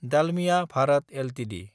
Dalmia Bharat Ltd